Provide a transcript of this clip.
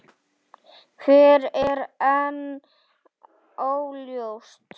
Hver er enn óljóst.